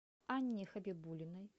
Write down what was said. анне хабибулиной